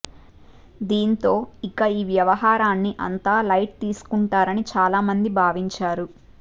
దీంతో ఇక ఈ వ్యవహారాన్ని అంతా లైట్ తీసుకుంటారని చాలామంది భావించారు